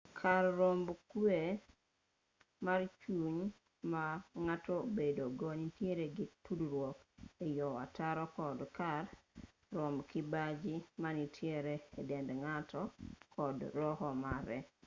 kar romb kwe mar chuny ma ng'ato bedo go nitiere gi tudruok e yor ataro kod kar romb kibaji ma nitiere e dend ng'ato kod roho mare